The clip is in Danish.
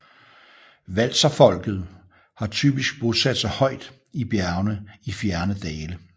Walserfolket har typisk bosat sig højt i bjergene i fjerne dale